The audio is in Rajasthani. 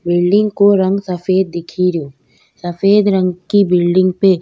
बिल्डिंग को रंग सफ़ेद दिखेरो सफ़ेद रंग की बिल्डिंग पे --